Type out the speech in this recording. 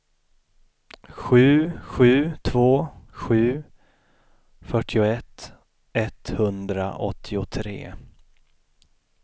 sju sju två sju fyrtioett etthundraåttiotre